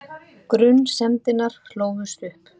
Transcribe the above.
Grunsemdirnar hlóðust upp.